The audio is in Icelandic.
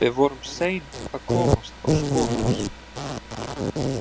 Við vorum sein að komast á spor hans.